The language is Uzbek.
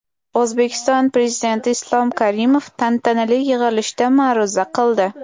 O‘zbekiston Prezidenti Islom Karimov tantanali yig‘ilishda ma’ruza qildi.